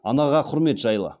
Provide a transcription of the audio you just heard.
анаға құрмет жайлы